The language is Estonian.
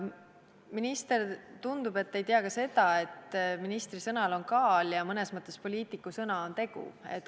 Minister, tundub, et te ei tea ka seda, et ministri sõnal on kaal ja mõnes mõttes poliitiku sõna on tegu.